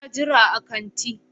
Ina jira a kanti.